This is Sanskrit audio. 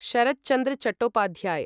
सरत् चन्द्र चट्टोपाध्याय्